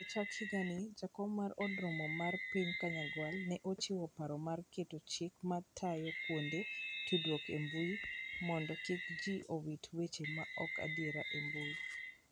E chak higani, Jakom mar Od Romo mar Piny Kanyagwal ne ochiwo paro mar keto chike ma tayo kuonde tudruok e mbui mondo kik ji owit weche ma ok adier e mbui.